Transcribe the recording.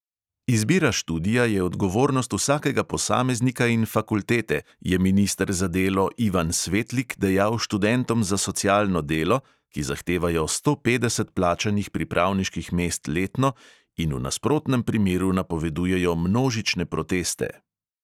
Izbira študija je odgovornost vsakega posameznika in fakultete, je minister za delo ivan svetlik dejal študentom za socialno delo, ki zahtevajo sto petdeset plačanih pripravniških mest letno in v nasprotnem primeru napovedujejo množične proteste.